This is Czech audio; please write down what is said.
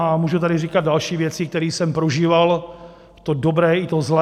A můžu tady říkat další věci, které jsem prožíval, to dobré i to zlé.